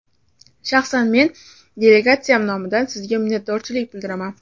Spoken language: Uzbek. Shaxsan men delegatsiyam nomidan sizga minnatdorlik bildiraman.